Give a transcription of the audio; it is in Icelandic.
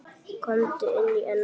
Komdu inn, elskan!